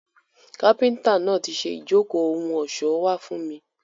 Kápíntà náà ti ṣe ijoko ohun ọṣọ wa fun mi.